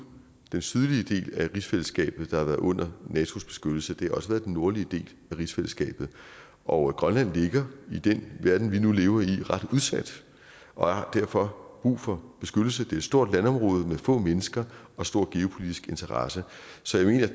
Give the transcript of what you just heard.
den sydlige del af rigsfællesskabet der har været under natos beskyttelse det har også været den nordlige del af rigsfællesskabet og grønland ligger i den verden vi nu lever i ret udsat og har derfor brug for beskyttelse det er et stort landområde med få mennesker og store geopolitiske interesser så jeg